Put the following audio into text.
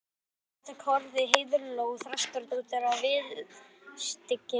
Andartak horfði Heiðló Þrastardóttir á viðurstyggðina